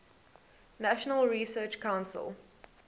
national research council